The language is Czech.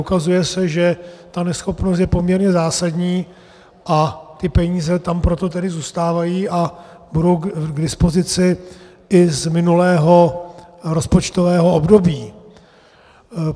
Ukazuje se, že ta neschopnost je poměrně zásadní, a ty peníze tam proto tedy zůstávají a budou k dispozici i z minulého rozpočtového období.